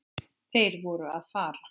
Þeir voru að fara.